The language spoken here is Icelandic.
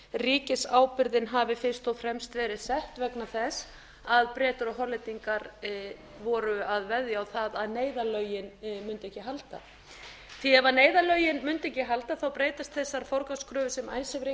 ríkisábyrgðin hafi fyrst og fremst verið sett vegna þess að bretar og hollendingar voru að veðja á það að neyðarlögin mundu ekki halda ef neyðarlögin mundu ekki halda þá breytast þessar forgangskröfur sem icesave reikningarnir eru